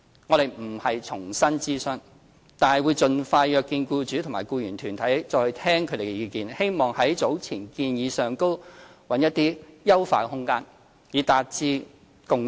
我們並非要重新諮詢，但會盡快約見僱主和僱員團體，再聽取他們的意見，希望在早前的建議上尋找優化空間，以達致共識。